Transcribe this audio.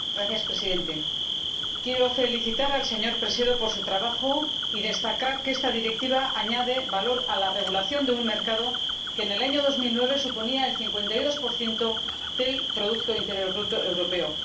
Señor Presidente, quiero felicitar al señor Sánchez Presedo por su trabajo y destacar que esta Directiva añade valor a la regulación de un mercado que en el año 2009 suponía el 52 del Producto Interior Bruto europeo.